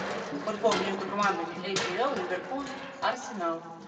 футбол между командами апл ливерпуль арсенал